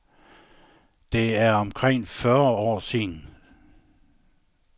Det er omkring fyrre år siden.